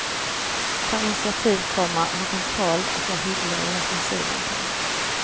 Tar initiativ, komma har kontroll och är hyggliga i offensiven. punkt